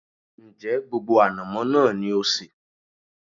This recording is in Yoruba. Ń jẹ́ gbogbo ànàmọ́ náà ni ó sé?